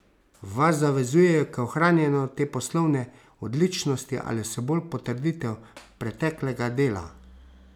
Vas zavezujejo k ohranjanju te poslovne odličnosti ali so bolj potrditev preteklega dela?